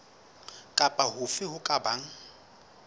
kapa hofe ho ka bang